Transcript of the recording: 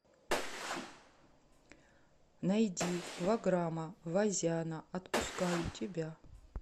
найди ваграма вазяна отпускаю тебя